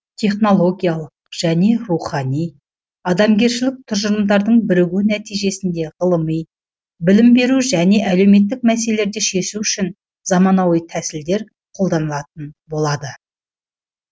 технологиялық және рухани адамгершілік тұжырымдардың бірігуі нәтижесінде ғылыми білім беру және әлеуметтік мәселелерді шешу үшін заманауи тәсілдер қолданылатын болады